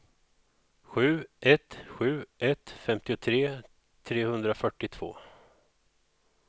sju ett sju ett femtiotre trehundrafyrtiotvå